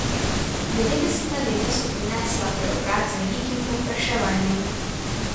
Devetdeseta leta so prinesla preobrat z velikim povpraševanjem.